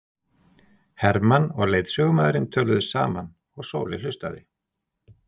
Hermann og leiðsögumaðurinn töluðu saman og Sóley hlustaði.